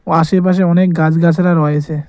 ও আশেপাশে অনেক গাছ-গাছালা রয়েছে।